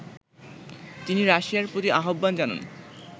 তিনি রাশিয়ার প্রতি আহ্বান জানান